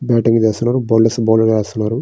Batting చేస్తున్నారు. Bowlers bowling వేస్తున్నారు.